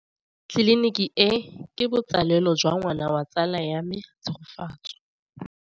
Tleliniki e, ke botsalêlô jwa ngwana wa tsala ya me Tshegofatso.